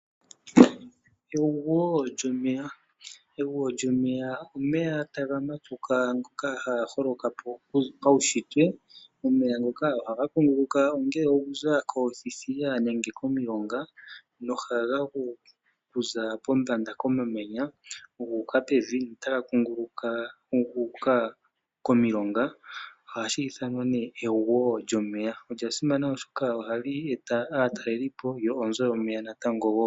Egwo lyomeya Egwo lyomeya olyo omeya ngoka haga matuka ngoka haga holoka po paunshitwe. Omeya ngoka ohaga kunguluka ongele okuza koothithiya nenge okuza komilonga nohaga gu okuza pombanda komamanya gu uka pevi notaga kunguluka gu uka komilonga. Olya simana oshoka ohali eta aatalelipo lyo onzo yomeya wo.